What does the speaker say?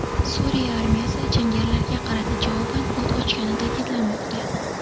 Suriya armiyasi jangarilarga qarata javoban o‘t ochgani ta’kidlanmoqda.